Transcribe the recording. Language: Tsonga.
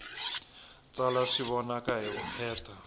tsala swi vonaka hi vukheta